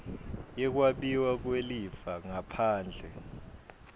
yekwabiwa kwelifa ngaphandle